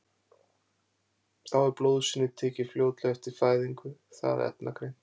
þá er blóðsýni tekið fljótlega eftir fæðingu það efnagreint